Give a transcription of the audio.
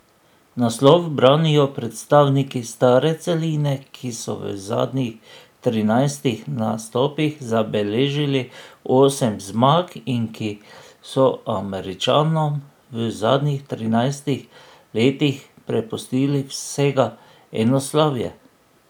Naslov branijo predstavniki stare celine, ki so v zadnjih trinajstih nastopih zabeležili osem zmag in ki so Američanom v zadnjih trinajstih letih prepustili vsega eno slavje.